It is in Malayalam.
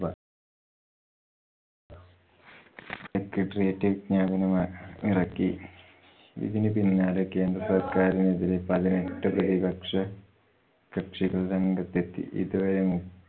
secretariat വിജ്ഞാപനമിറക്കി. ഇതിനു പിന്നാലെ കേന്ദ്ര സർക്കാരിനെതിരെ പതിനെട്ട് പ്രതിപക്ഷ കക്ഷികൾ രംഗത്തെത്തി. ഇതുവരെ